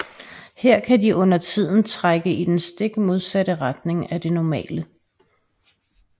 Her kan de undertiden trække i den stik modsatte retning af det normale